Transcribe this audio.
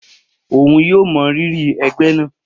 Oun yoo mọ riri ẹgbẹ naa